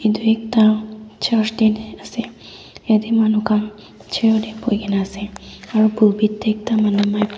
etu ekta asae yadae manu khan chair dae boiki na asae aro bullpit dae ekta manu mic--